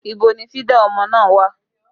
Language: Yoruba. Ibo ni fídà ọmọ náà wà?